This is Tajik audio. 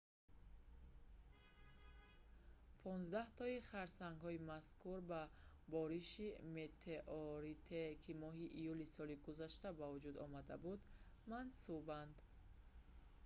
понздаҳтои харсангҳои мазкур ба бориши метеоритие ки моҳи июли соли гузашта ба вуҷуд омада буд мансубанд